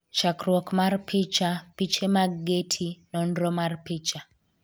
chakruok mar picha, piche mag Getty, nonro mar picha